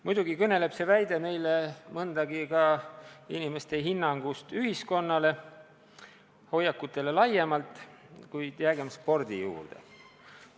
Muidugi kõneleb see väide meile mõndagi ka inimeste hinnangust ühiskonnale, hoiakutele laiemalt, kuid jäägem spordi juurde.